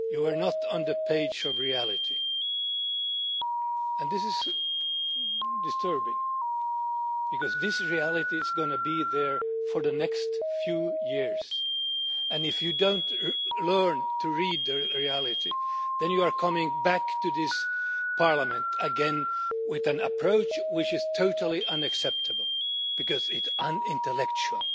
You are not on the page of reality, and this is disturbing because this reality is going to be there for the next few years, and if you do not learn to read the reality then you are coming back to this Parliament again with an approach which is totally unacceptable, because it is unintellectual.